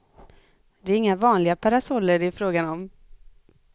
Det är inga vanliga parasoller det är frågan om.